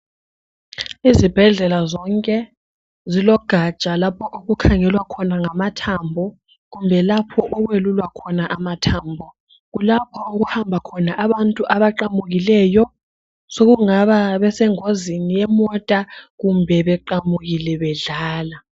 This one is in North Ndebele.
Izibhedlela zonke zilogatsha lapho okukhangelwa khona ngamathambo kumbe lapho okwelulwa khona amathambo, kulapho okuhamba khona abantu abaqamukileyo sokungaba besengozini yemota kumbe beqamukile bedlala.